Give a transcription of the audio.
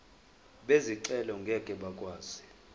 bezicelo ngeke bakwazi